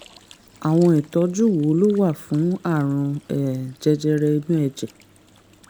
àwọn ìtọ́jú wo ló wà fún àrùn um jẹjẹrẹ inú ẹ̀jẹ̀?